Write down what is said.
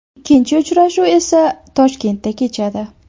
Ikkinchi uchrashuv esa Toshkentda kechadi.